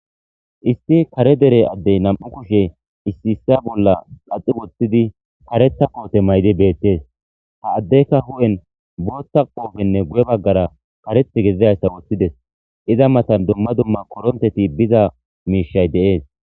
Isti kare dere addey nam'u kushe issi issa bolla qaxi woththidi kareta koote maydi beettees ha addekka hu'en bootta qoofenne guye baggara kareth gedizdayssa woththides iza matan dumma dumma koronteti biza miishay de'es.